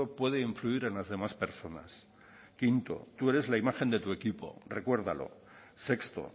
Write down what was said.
puede influir en las demás personas quinto tú eres la imagen de tu equipo recuérdalo sexto